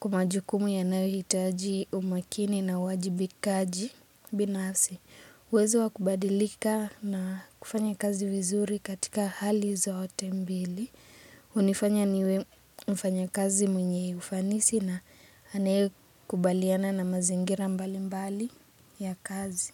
kuma jukumu ya nae hitaji umakini na wajibikaji binasi. Wezo wa kubadilika na kufanya kazi vizuri katika hali zote mbili. Unifanya niwe mfanya kazi mwenye ufanisi na anae kubaliana na mazingira mbali mbali ya kazi.